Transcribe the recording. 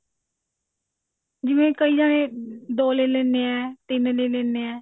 ਜਿਵੇਂ ਕਈ ਜਾਣੇ ਦੋ ਲੈ ਲੈਂਦੇ ਨੇ ਤਿੰਨ ਲੈ ਲੈਂਦੇ ਨੇ